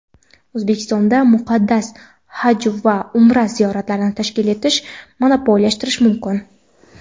O‘zbekistonda muqaddas "Haj" va "Umra" ziyoratlarini tashkil etish monopollashtirilishi mumkin.